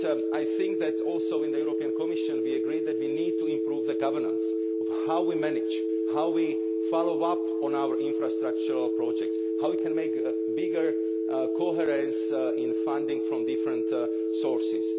I think that, also in the Commission, we agreed that we need to improve the governance of how we manage, how we follow up on our infrastructure projects, how we can make greater coherence in funding from different sources.